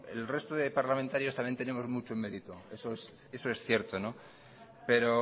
bueno el resto de parlamentarios también tenemos mucho mérito eso es cierto pero